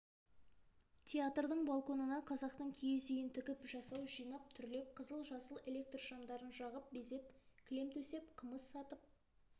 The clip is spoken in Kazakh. театрдың балконына қазақтың киіз үйін тігіп жасау жинап түрлеп қызыл-жасыл электр шамдарын жағып безеп кілем төсеп қымыз сатып